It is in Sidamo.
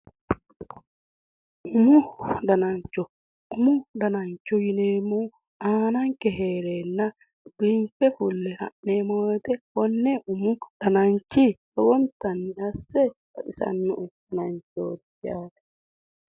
Umu danancho umu danancho yineemmohu aananke heereenna biinfe fulle ha'neemmo woyiite konne umu danancho lowontanni assa baxisannoe dananchooti yaate